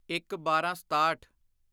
ਇੱਕਬਾਰਾਂਸਤਾਹਠ